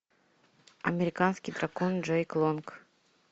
американский дракон джейк лонг